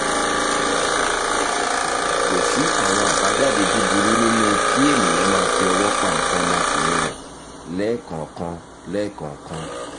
kò sí àwọn àbájáde búburú nínú kí èèyàn máa fi ọwọ́ pa nǹkan ọmọkùnrin rẹ̀ lẹ́ẹ̀kọ̀ọ̀kan lẹ́ẹ̀kọ̀ọ̀kan